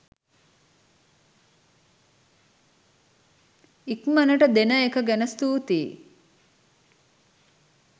ඉක්මනට දෙන එක ගැන ස්තුතියි.